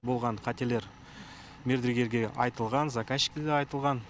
болған қателер мердігерге айтылған заказщикке де айтылған